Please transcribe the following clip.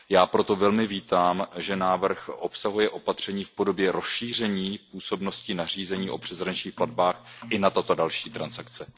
Já proto velmi vítám, že návrh obsahuje opatření v podobě rozšíření působnosti nařízení o přeshraničních platbách i na tyto další transakce.